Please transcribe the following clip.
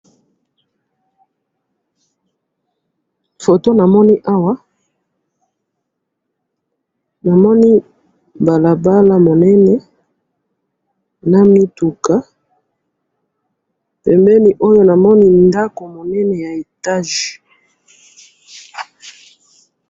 Awa na moni balabala minene na mituka, na liboso ndako ya etage.